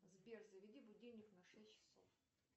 сбер заведи будильник на шесть часов